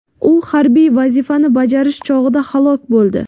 U harbiy vazifani bajarish chog‘ida halok bo‘ldi.